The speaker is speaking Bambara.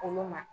Olu ma